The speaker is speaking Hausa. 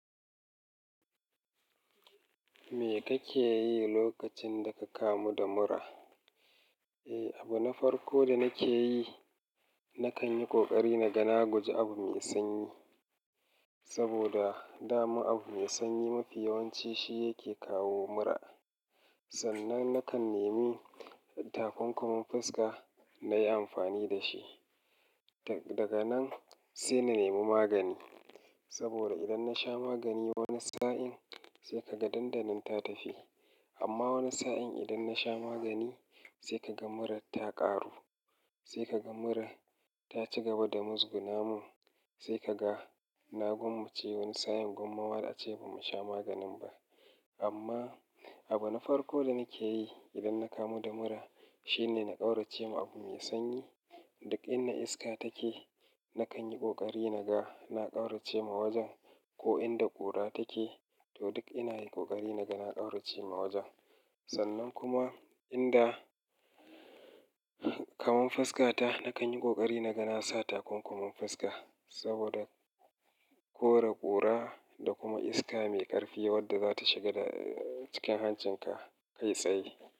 Me kake yi lokacin da ka kamu da mura? Eh, abu na farko da nake yi, na kan yi ƙoƙari na ga na guje abu mai sanyi. Saboda dama abu mai sanyi mafi yawanci shi yake kawo mura. Sannan na kan nemi takunkumin fuska na yi amfani da shi. Daga nan sai na nemi magani. Saboda idan na sha magani wani sa'in sai ka ga dandanan ta tafi. Amma wani sa'in idan na sha magani sai ka ga mura ta ƙaru, sai ka ga mura ta ci gaba da muzgunamun, sai ka ga na gwammace wani sa'in gomma wa a ce ba mu sha maganin ba. Amma abu na farko da nake yi idan na kamu da mura shine na ƙaurace ma abu mai sanyi. Duk inda iska take na kan yi ƙoƙari na ga na ƙaurace ma wajen, ko inda ƙura take to duk ina yi ƙoƙari na ga na ƙaurace ma wajen. Sannan kuma inda kamun fuska ta na kan yi ƙoƙari na ga na sa takunkumin fuska saboda kore ƙura da kuma iska mai ƙarfi wadda za ta shiga cikin hancinka kai tsaye.